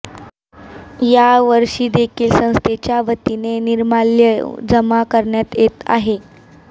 यावर्षी देखील संस्थेच्या वतीने निर्माल्य जमा करण्यात येत आहे